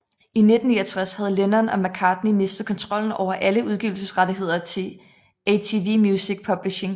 I 1969 havde Lennon og McCartney mistet kontrollen over alle udgivelsesrettigheder til ATV Music Publishing